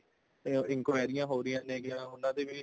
enquiry ਹੋ ਰਹੀਆਂ ਹੈਗੀਆਂ ਉਹਨਾ ਦੇ ਵੀ